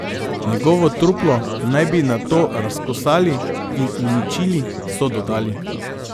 Njegovo truplo naj bi nato razkosali in uničili, so dodali.